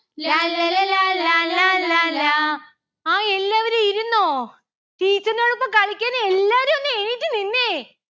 ലാല്ലല ലാലാ ലാലാ ലാ hai എല്ലാവരും ഇരുന്നോ teacher ന്റൊടൊപ്പം കളിക്കാൻ എല്ലാരും ഒന്നെണീറ്റു നിന്നെ